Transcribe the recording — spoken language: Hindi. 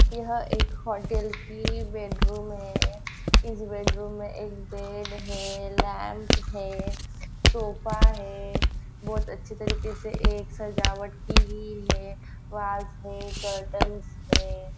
यह एक होटल की बेडरूम है इस बेडरूम में एक बेड है लॅम्प है सोफ़ा है बहुत अच्छे तरीके से एक सजावट की गयी है फ्लावर्स है करटन्स है।